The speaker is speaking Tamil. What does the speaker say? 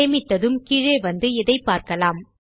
சேமித்ததும் கீழே வந்து இதைப் பார்க்கலாம்